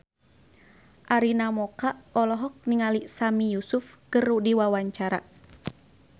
Arina Mocca olohok ningali Sami Yusuf keur diwawancara